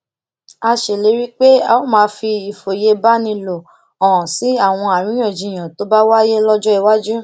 a ṣèlérí pé a ó máa fi ìfòyebánilò hàn sí àwọn àríyànjiyàn tó bá wáyé lójó iwájú